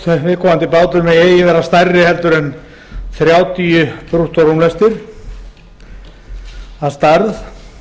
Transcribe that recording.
að viðkomandi bátur megi eigi vera stærri en þrjátíu brúttórúmlestir að stærð